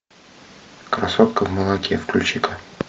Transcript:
красотка в молоке включи ка